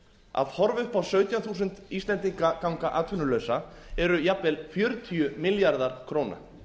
að horfa upp á sautján þúsund íslendinga ganga atvinnulausa eru jafnvel fjörutíu milljarðar króna